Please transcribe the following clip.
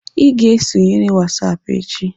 Ị ga-esonyere WhatsApp echi.